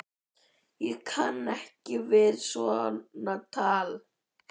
Ég kann ekki við svona tal!